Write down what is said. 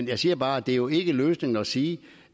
jeg siger bare at det jo ikke er løsningen at sige